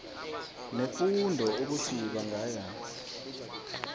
nefundo ukuthi bangaya